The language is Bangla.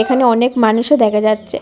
এখানে অনেক মানুষও দেখা যাচ্ছে।